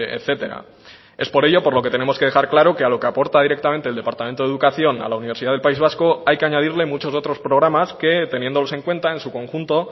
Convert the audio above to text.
etcétera es por ello por lo que tenemos que dejar claro que a lo que aporta directamente el departamento de educación a la universidad del país vasco hay que añadirle muchos otros programas que teniéndolos en cuenta en su conjunto